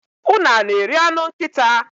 unu a na-eri anụ nkịta?